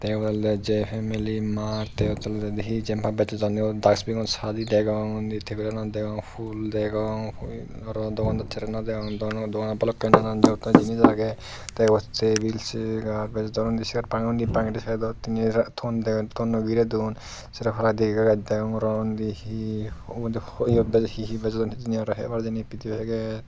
ibey oley jei family mart tey toledi hi jenpai bejodonni oh disbino sadi degong undi tebilanot degong fhul degong aro dogandasserey naw degong doganot balokkani nanan jokkor jinis agey tey ibot tebil seyar bejodon undi siyot parapang bangedi saidot tiney ton noi girey don sero paladi gaaj degong aro undi hi ubot hi hi bejodon hijeni aro hebar jinis pidey agey.